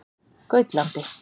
Gautlandi